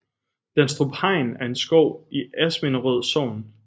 Danstrup Hegn er en skov i Asminderød Sogn